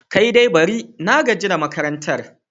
Kai dai bari! na gaji da makarantar.